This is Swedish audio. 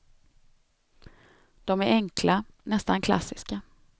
De är enkla, nästan klassiska.